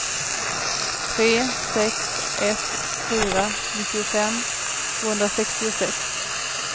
tre sex ett fyra nittiofem tvåhundrasextiosex